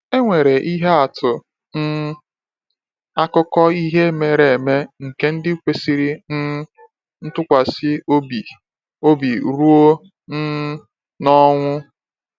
E nwere ihe atụ um akụkọ ihe mere eme nke ndị kwesịrị um ntụkwasị obi obi ruo um n’ọnwụ.